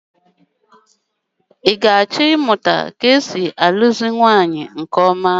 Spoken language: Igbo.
I ga-achọ ịmụta ka e si alụzi nwaanyị nke ọma?